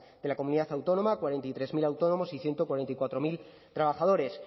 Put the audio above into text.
de la comunidad autónoma cuarenta y tres mil autónomos y ciento cuarenta y cuatro mil trabajadores